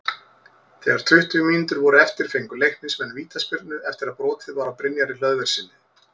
Þegar tuttugu mínútur voru eftir fengu Leiknismenn vítaspyrnu eftir að brotið var á Brynjari Hlöðverssyni.